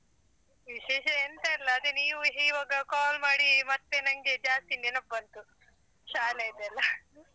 ವಿಶೇಷ ಎಂತ ಇಲ್ಲ ಅದೆ ನೀವು ಈವಾಗ call ಮಾಡಿ ಮತ್ತೆ ನಂಗೆ ಜಾಸ್ತಿ ನೆನಪ್ಬಂತು ಶಾಲೆದೆಲ್ಲ .